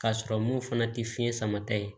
K'a sɔrɔ mun fana tɛ fiɲɛ sama ta ye